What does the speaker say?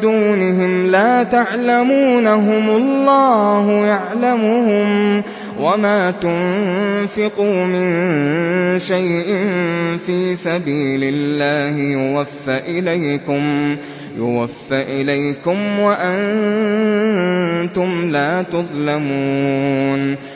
دُونِهِمْ لَا تَعْلَمُونَهُمُ اللَّهُ يَعْلَمُهُمْ ۚ وَمَا تُنفِقُوا مِن شَيْءٍ فِي سَبِيلِ اللَّهِ يُوَفَّ إِلَيْكُمْ وَأَنتُمْ لَا تُظْلَمُونَ